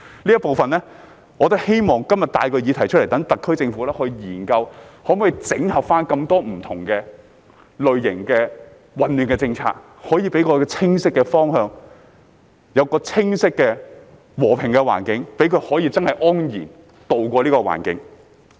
我今天希望帶出這部分的議題，讓特區政府研究可否整合多種不同類型牌照，理順混亂的政策，給我們清晰的方向、和平的環境，讓居民真的可以安然渡過。